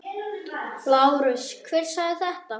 LÁRUS: Hver sagði þetta?